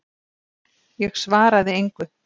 Ég svaraði engu.